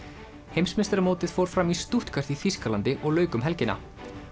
heimsmeistaramótið fór fram í Stuttgart í Þýskalandi og lauk um helgina